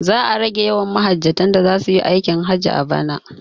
Za a rage yawan mahajjatan da zasuyi aikin hajji a bana